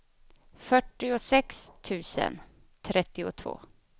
fyrtiosex tusen trettiotvå